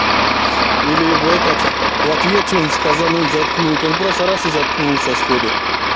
или в этот в ответ что-то сказануть заткнуть он просто раз и заткнулся сходу